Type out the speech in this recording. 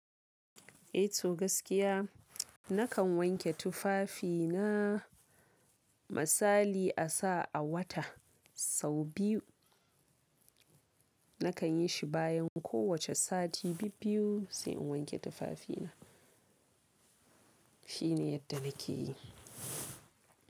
Eh to gaskiya nakan wanke tufafina. Misali a sa a wata sau biyu. Nakan yi shi bayan kowace sati bibbiyu sai in wanke tufafina. Shine yadda nake yi.